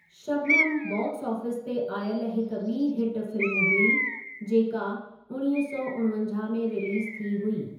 Shabnam' box office ते आयल हिक ॿी हिट फिल्म हुई, जेका उणिवीह सौ उणिवंजाहु में रिलीज़ थी हुई।